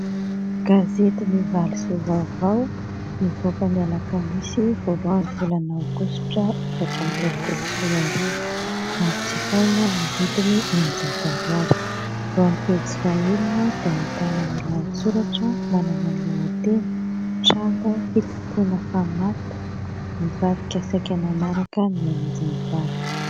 Gazety : "Ny valisoa vaovao"nivoaka ny alakamisy voalohan'ny volana aogositra efatra amby roapolo sy roa arivo ary jifaina amin'ny vidiny enin-jato ariary. Eo amin'ny pejy faha enina dia ahitana ny lahatsoratra manana ny lohateny : tranga fitompoana famato ; nivadika saika nanaraka ny ain'izy mivady.